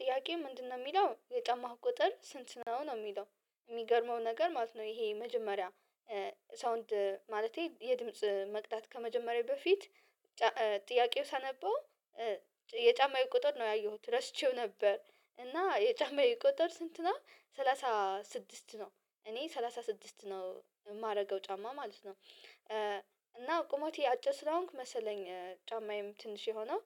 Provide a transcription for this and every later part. ጥያቄው ምንድነው የሚለው የጫማህ ቁጥር ስንት ነው ነው የሚለው? የሚገርመው ነገር ማለት ነው። ይሄ መጀመሪያ ሳውንድ ማለቴ የድምጽ መቅዳት ከመጀመሬ በፊት። ጥያቄው ሳነበው የጫማዬ ቁጥር ነው ያየሁት ረስቼው ነበር። እና የጫማዬ ቁጥር ስንት ነው? ሰላሳ ስድስት ነው እኔ ሰላሳ ስድስት ነው የማደርገው ጫማ ማለት ነው። እና ቁመቴ አጭር ስለሆንኩ መሰለኝ ጫማዬም ትንሽ የሆነው።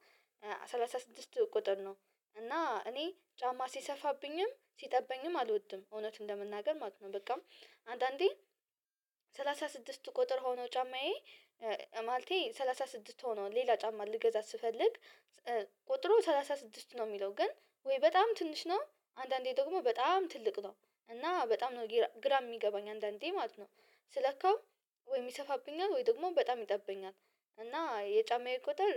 ሰላሳ ስድስት ቁጥር ነው እና እኔ ጫማ ሲሰፋብኝም ሲጠበኝም አልወድም እውነቱን ለመናገር ማለት ነው። በቃ አንዳንዴ ሰላሳ ስድስት ቁጥር ሆኖ ጫማዬ። ማለቴ ሰላሳ ስድስት ሆኖ ሌላ ጫማ ልገዛ ስፈልግ። ቁጥሩ ሰላሳ ስድስት ነው የሚለው ግን ወይ በጣም ትንሽ ነው። አንዳንዴ ደግሞ በጣም ትልቅ ነው። እና በጣም ነው ግራ የሚገባኝ አንዳንዴ ማለት ነው። ስለካው ወይ ይሰፋብኛል ወይ ደግሞ በጣም ይጠበኛል። እና የጫማዬ ቁጥር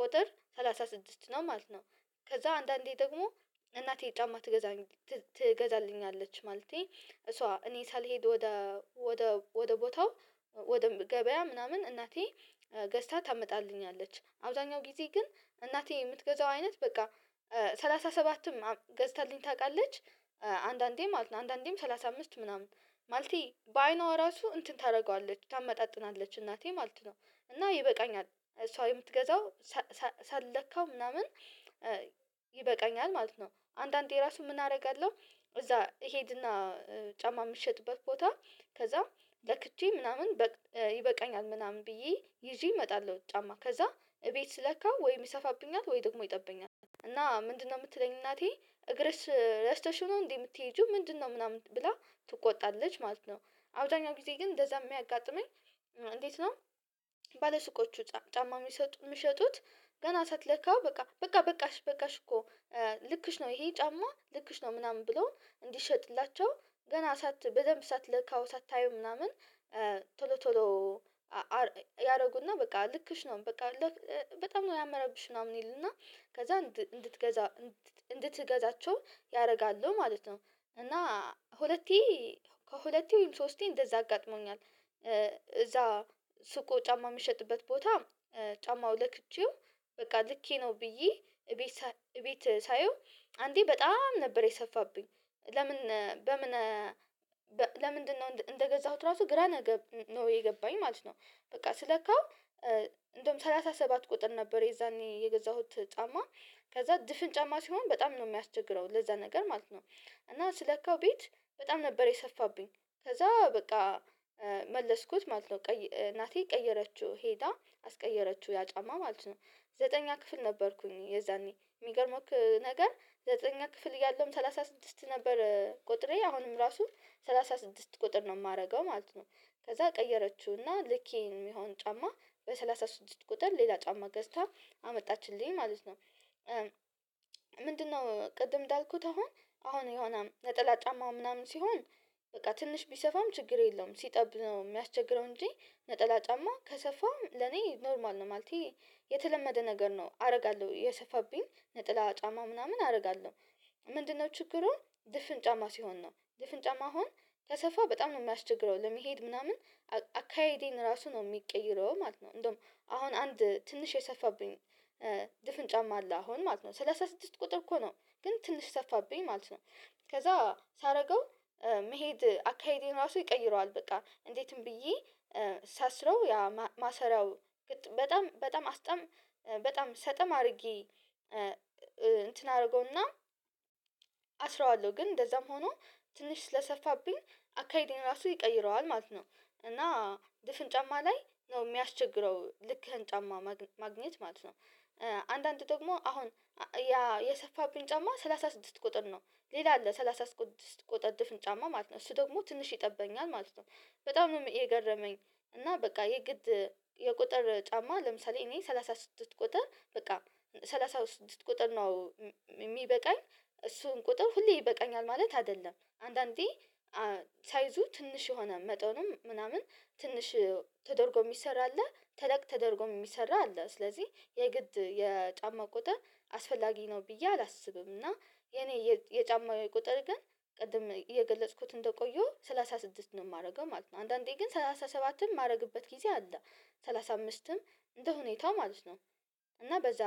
ቁጥር ሰላሳ ስድስት ነው ማለት ነው። ከዛ አንዳንዴ ደግሞ እናቴ ጫማ ትገዛልኛለች ማለቴ እሷ እኔ ሳልሄድ ወደ ወደ ወደ ቦታው። ወደ ገበያ ምናምን እናቴ ገዝታ ታመጣልኛለች አብዛኛው ጊዜ ግን እናቴ የምትገዛው አይነት በቃ ሰላሳ ሰባትም ገዝታልኝ ታውቃለች። አንዳንዴ ማለት ነው አንዳንዴም ሰላሳ አምስት ምናምን። ማለቴ በአይኗ ራሱ እንትን ታደርገዋለች ታመጣጥናለች እናቴ ማለት ነው። እና ይበቃኛል እሷ የምትገዛው ሳለካው ምናምን ይበቃኛል ማለት ነው። አንዳንዴ ራሱ ምን አደርጋለሁ። እዛ እሄድና ጫማ የሚሸጥበት ቦታ ከዛ ለክቼ ምናምን ይበቃኛል ምናምን ብዬ ይዤ እመጣለሁ። ጫማ ከዛ እቤት ስለካው ወይ ይሰፋብኛል ወይ ደግሞ ይጠበኛል። እና ምንድነው የምትለኝ እናቴ እግርሽ ረስተሽው ነው እንዴ? የምትሄጂው ምንድነው ምናምን ብላ ትቆጣለች ማለት ነው። አብዛኛው ጊዜ ግን እንደዛ የሚያጋጥመኝ። እንዴት ነው? ባለሱቆቹ ጫማ የሚሸጡት ገና ሳትለካው በቃ በቃ በቃሽ በቃሽ እኮ ልክሽ ነው ይሄ ጫማ ልክሽ ነው ምናምን ብለው እንዲሸጥላቸው። ገና ሳት በደንብ ሳትለካው ሳታየው ምናምን። ቶሎ ቶሎ ያደርጉና በቃ ልክሽ ነው በቃ በጣም ነው ያማረብሽ ምናምን ይልና ከዛ እንድትገዛ እንድትገዛቸው ያደርጋሉ ማለት ነው። እና ሁለቴ ከሁለቴ ወይም ሶስቴ እንደዛ አጋጥሞኛል። ሱቁ ጫማ የሚሸጥበት ቦታ ጫማው ለክቼው በቃ ልኬ ነው ብዬ እቤት እቤት ሳየው። አንዴ በጣም ነበር የሰፋብኝ። ለምን በምን ለምንድነው? እንደገዛሁት ራሱ ግራ ነገ ነው የገባኝ ማለት ነው። በቃ ስለካው እንደውም ሰላሳ ሰባት ቁጥር ነበር የዛኔ የገዛሁት ጫማ። ከዛ ድፍን ጫማ ሲሆን በጣም ነው የሚያስቸግረው ለዛ ነገር ማለት ነው። እና ስለካው ቤት በጣም ነበር የሰፋብኝ። ከዛ በቃ መለስኩት ማለት ነው እናቴ ቀየረችው ሄዳ አስቀየረችው ያ ጫማ ማለት ነው። ዘጠነኛ ክፍል ነበርኩኝ የዛኔ የሚገርምክ ነገር ዘጠነኛ ክፍል እያለሁም ሰላሳ ስድስት ነበር ቁጥሬ አሁንም ራሱ ሰላሳ ስድስት ቁጥር ነው የማደርገው ማለት ነው። ከዛ ቀየረችውና ልኬ የሚሆን ጫማ በሰላሳ ስድስት ቁጥር ሌላ ጫማ ገዝታ አመጣችልኝ ማለት ነው። ምንድነው ቅድም እንዳልኩት አሁን አሁን የሆነ ነጠላ ጫማ ምናምን ሲሆን በቃ ትንሽ ቢሰፋም ችግር የለውም። ሲጠብ ነው የሚያስቸግረው እንጂ ነጠላ ጫማ ከሰፋ ለኔ ኖርማል ነው ማለቴ። የተለመደ ነገር ነው አደርጋለሁ የሰፋብኝ ነጠላ ጫማ ምናምን አደርጋለሁ። ምንድነው ችግሩን ድፍን ጫማ ሲሆን ነው ድፍን ጫማ አሁን ከሰፋ በጣም ነው የሚያስቸግረው ለመሄድ ምናምን። አካሄዴን ራሱ ነው የሚቀይረው ማለት ነው። እንደውም አሁን አንድ ትንሽ የሰፋብኝ። ድፍን ጫማ አለ አሁን ማለት ነው ሰላሳ ስድስት ቁጥር እኮ ነው ግን ትንሽ ሰፋብኝ ማለት ነው። ከዛ ሳደርገው መሄድ አካሄዴ ራሱ ይቀይረዋል በቃ እንዴትም ብዬ ሳስረው ያ ማሰሪያው። በጣም በጣም አስጠም በጣም ሰጠም አድርጌ እንትን አደርገውና አስረዋለሁ ግን እንደዛም ሆኖ ትንሽ ስለሰፋብኝ አካሄዴን ራሱ ይቀይረዋል ማለት ነው። እና ድፍን ጫማ ላይ ነው የሚያስቸግረው ልክህን ጫማ ማግኘት ማለት ነው። አንዳንድ ደግሞ አሁን ያ የሰፋብኝ ጫማ ሰላሳ ስድስት ቁጥር ነው። ሌላ አለ ሰላሳ ስድስት ቁጥር ድፍን ጫማ ማለት ነው እሱ ደግሞ ትንሽ ይጠበኛል ማለት ነው። በጣም ነው የገረመኝ። እና በቃ የግድ የቁጥር ጫማ ለምሳሌ እኔ ሰላሳ ስድስት ቁጥር በቃ ሰላሳ ስድስት ቁጥር ነው። የሚበቃኝ እሱን ቁጥር ሁሌ ይበቃኛል ማለት አይደለም አንዳንዴ። ሳይዙ ትንሽ የሆነ መጠኑም ምናምን ትንሽ ተደርጎ የሚሰራ አለ ተለቅ ተደርጎ የሚሰራ አለ ስለዚህ የግድ የጫማ ቁጥር። አስፈላጊ ነው ብዬ አላስብም። እና የኔ የጫማ ቁጥር ግን ቅድም እየገለጽኩት እንደቆየሁ ሰላሳ ስድስት ነው የማደርገው ማለት ነው። አንዳንዴ ግን ሰላሳ ሰባትም ማረግበት ጊዜ አለ። ሰላሳ አምስትም እንደሁኔታው ማለት ነው። እና በዛ